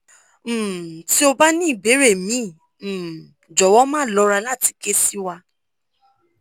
um ti o ba ni ibere mi um jowow ma lora lati ke si wa